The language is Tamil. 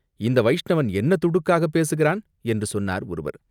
இந்த வைஷ்ணவன் என்ன துடுக்காகப் பேசுகிறான்?" என்று சொன்னார் ஒருவர்.